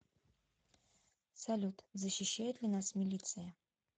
салют защищает ли нас милиция